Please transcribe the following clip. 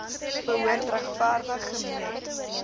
behoort regverdig gemeet